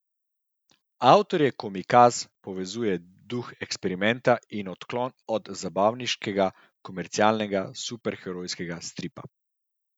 Avtorje Komikaz povezuje duh eksperimenta in odklon od zabavniškega, komercialnega, superherojskega stripa.